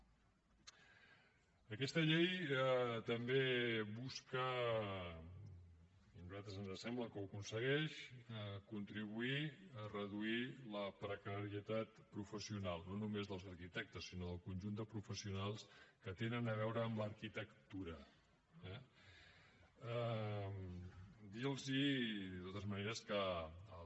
aquesta llei també busca i a nosaltres ens sembla que ho aconsegueix contribuir a reduir la precarietat professional no només dels arquitectes sinó del conjunt de professionals que tenen a veure amb l’arquitectura eh dir los de totes maneres que el